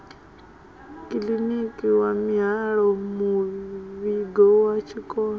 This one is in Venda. kiḽiniki wa mihaelomuvhigo wa tshikolo